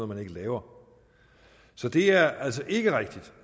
man ikke laver så det er altså ikke rigtigt